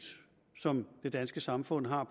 som det danske samfund har